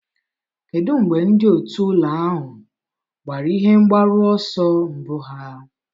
Kedu mgbe ndị otu ụlọ ahụ gbara ihe mgbaru ọsọ mbụ ha?